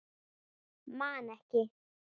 Man ekki.